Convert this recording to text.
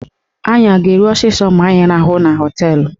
Anyị a ga-eru ọsọsọ ma anyị rahụọ na họteelụ?